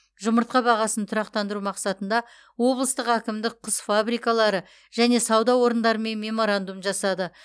жұмыртқа бағасын тұрақтандыру мақсатында облыстық әкімдік құс фабрикалары және сауда орындарымен меморандум жасады